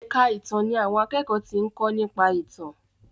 èka ìtàn ní àwọn akékòó tí nko nípa ìtàn.